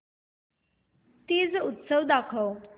तीज उत्सव दाखव